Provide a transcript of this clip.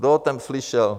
Kdo o tom slyšel?